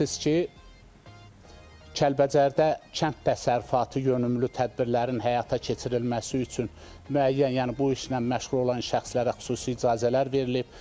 Bilirsiniz ki, Kəlbəcərdə kənd təsərrüfatı yönümlü tədbirlərin həyata keçirilməsi üçün müəyyən, yəni bu işlə məşğul olan şəxslərə xüsusi icazələr verilib.